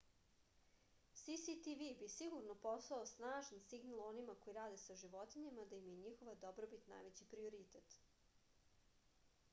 cctv bi sigurno poslao snažan signal onima koji rade sa životinjama da im je njihova dobrobit najveći prioritet